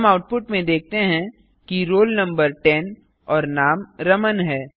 हम आउटपुट में देखते हैं कि रोल नंबर टेन और नाम रमन है